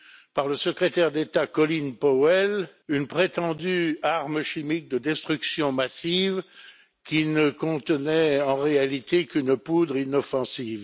par le secrétaire d'État Colin Powell, une prétendue arme chimique de destruction massive qui ne contenait en réalité qu'une poudre inoffensive.